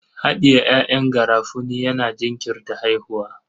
Haɗiye ƴaƴan garafuni yana jinkirta haihuwa.